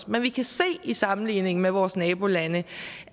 men vi kan se i sammenligning med vores nabolande